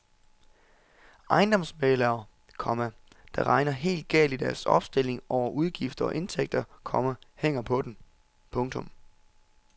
Ejendomsmæglere, komma der regner helt galt i deres opstilling over udgifter og indtægter, komma hænger på den. punktum